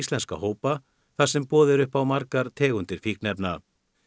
hópa þar sem boðið er upp á margar tegundir fíkniefna